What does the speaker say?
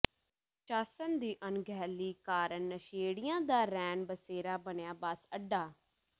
ਪ੍ਰਸ਼ਾਸਨ ਦੀ ਅਣਗ ਹਿਲੀ ਕਾਰਨ ਨਸ਼ੇੜੀਆਂ ਦਾ ਰੈਣ ਬਸੇਰਾ ਬਣਿਆ ਬੱਸ ਅੱਡਾ